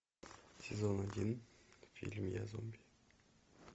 сезон один фильм я зомби